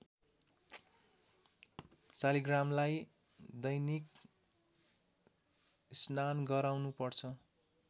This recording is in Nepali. शालिग्रामलाई दैनिक स्नान गराउनु पर्छ